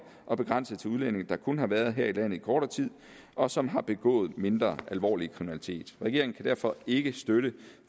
og begrænset til udlændinge der kun har været her i landet i kortere tid og som har begået mindre alvorlig kriminalitet regeringen kan derfor ikke støtte